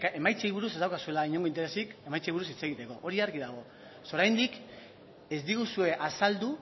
emaitzei buruz ez daukazuela inongo interesik emaitzei buruz hitz egiteko hori argi dago oraindik ez diguzue azaldu